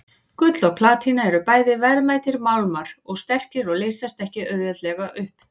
Gull og platína eru bæði verðmætir málmar og sterkir og leysast ekki auðveldlega upp.